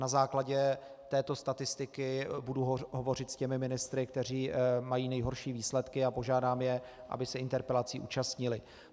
Na základě této statistiky budu hovořit s těmi ministry, kteří mají nejhorší výsledky, a požádám je, aby se interpelací účastnili.